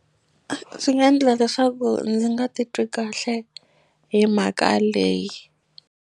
Swi nga endla leswaku ndzi nga titwi kahle hi mhaka leyi.